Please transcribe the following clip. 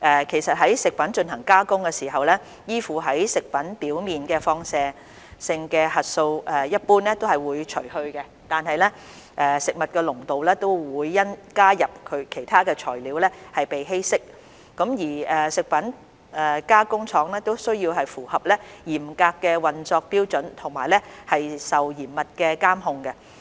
其實，在食品進行加工的時候，依附在食品表面的放射性核素一般會被除去，有關物質的濃度會因加入其他材料而稀釋，而食品加工廠亦需要符合嚴格的運作標準和受嚴密的監控。